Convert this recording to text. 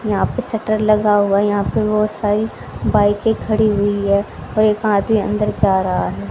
यहां पे शटर लगा हुआ है यहां पे बहुत सारी बाइके खड़ी हुई हैं और एक आदमी अंदर जा रहा है।